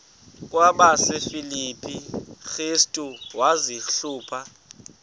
kwabasefilipi restu wazihluba